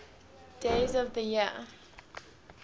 days of the year